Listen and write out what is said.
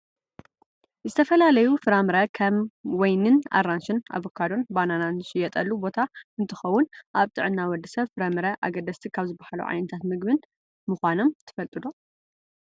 ዝተፈላለዩ ፍራምረ ከም ወይኒን ኣራንሽን፣ ኣቫካዶን፣ ባናናን ዝሽየጠሉ ቦታ እንትከውን ኣብ ጥዕና ወዲ ሰብ ፍራምረ ኣገደስቲ ካብ ዝባሃሉ ዓይነት ምግብታት ምኳኖም ትፈልጡ ዶ ?